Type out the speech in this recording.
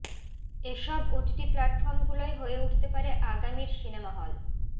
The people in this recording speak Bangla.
এসব ওটিটি প্লাটফর্মগুলোই হয়ে উঠতে পারে আগামীর সিনেমা হল